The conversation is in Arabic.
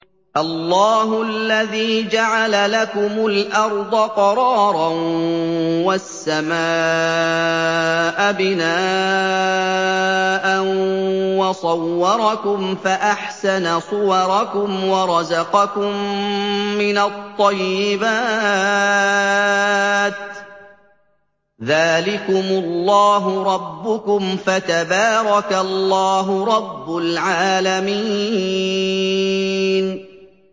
اللَّهُ الَّذِي جَعَلَ لَكُمُ الْأَرْضَ قَرَارًا وَالسَّمَاءَ بِنَاءً وَصَوَّرَكُمْ فَأَحْسَنَ صُوَرَكُمْ وَرَزَقَكُم مِّنَ الطَّيِّبَاتِ ۚ ذَٰلِكُمُ اللَّهُ رَبُّكُمْ ۖ فَتَبَارَكَ اللَّهُ رَبُّ الْعَالَمِينَ